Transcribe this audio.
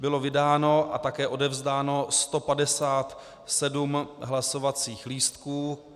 Bylo vydáno a také odevzdáno 157 hlasovacích lístků.